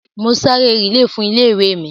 Mo ṣá eré rìílè fún ilé-ìwé mi